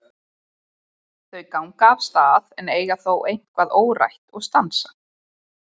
Þau ganga af stað en eiga þó eitthvað órætt og stansa.